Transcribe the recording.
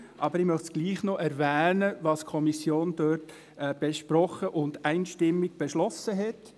Aber ich möchte doch noch erwähnen, was die Kommission dort besprochen und einstimmig beschlossen hat.